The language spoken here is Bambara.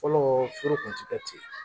Fɔlɔ foro kun ti kɛ ten